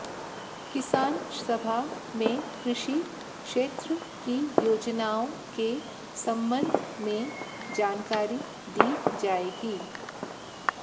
किसान सभा में कृषि क्षेत्र की योजनाओं के संबंध में जानकारी दी जाएगी